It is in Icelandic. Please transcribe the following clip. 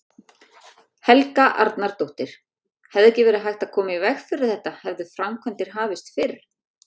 Helga Arnardóttir: Hefði verið hægt að koma í veg fyrir þetta hefðu framkvæmdir hafist fyrr?